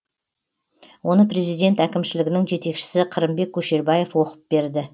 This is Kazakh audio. оны президент әкімшілігінің жетекшісі қырымбек көшербаев оқып берді